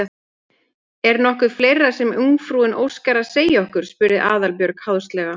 Er nokkuð fleira sem ungfrúin óskar að segja okkur? spurði Aðalbjörg háðslega.